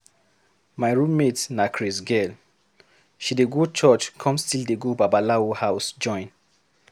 My roommate na craze girl. She dey go church come still dey go babalawo house join.